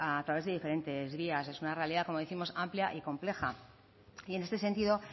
a través de diferentes vías es una realidad como décimos amplia y compleja y en este sentido